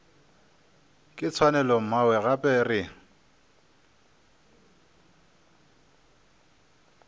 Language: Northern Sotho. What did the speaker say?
ke tshwanelo mmawe gape re